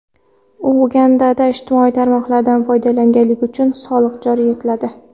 Ugandada ijtimoiy tarmoqlardan foydalanganlik uchun soliq joriy etiladi.